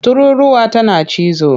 Tururruwa tana cizo.